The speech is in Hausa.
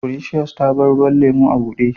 Precious ta bar ruwan lemu a bude.